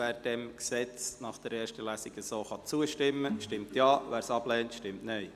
Wer dem Gesetz nach der ersten Lesung so zustimmt, stimmt Ja, wer es ablehnt, stimmt Nein.